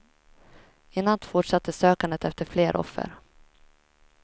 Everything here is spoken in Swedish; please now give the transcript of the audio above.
I natt fortsatte sökandet efter fler offer.